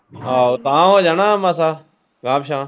ਆਹੋ ਗਾਂਹ ਹੋਜੋ ਨਾ ਮਾਸਾ ਗਾਂਹ ਪਿਛਾਂਹ।